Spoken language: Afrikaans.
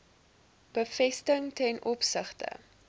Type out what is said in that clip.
bevestiging ten opsigte